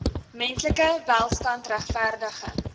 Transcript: menslike welstand regverdige